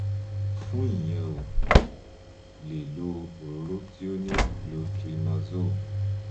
fún ìyẹn o lè lo òróró tí ó ní clotrimazole